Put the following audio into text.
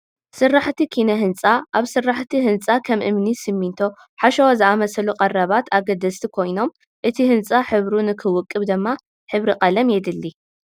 ስራሕ ኪነ ህንፃ-ኣብ ስራሕቲ ህንፃ ከም እምኒ፣ ስሚንቶ፡ ሓሸዋ ዝኣምሰሉ ቀረባት ኣገደስቲ ኮይኖም እቲ ህንፃ ሕብሩ ንክውቅብ ድማ ሕብሪ ቀለም የድሊ፡፡